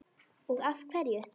Og af hverju.